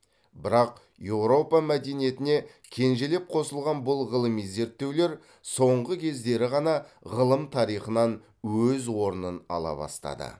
бірақ еуропа мәдениетіне кенжелеп қосылған бұл ғылыми зерттеулер соңғы кездері ғана ғылым тарихынан өз орнын ала бастады